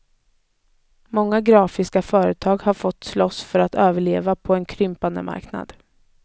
Många grafiska företag har fått slåss för att överleva på en krympande marknad.